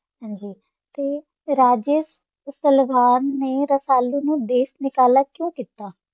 ਹਾਂਜੀ ਤੇ ਰਾਜੇ ਸਲਵਾਨ ਨੇ ਰਸਾਲੇ ਨੂੰ ਦੇਸ਼ ਨਿਕਾਲਾ ਕਿਉਂ ਕੀਤਾ?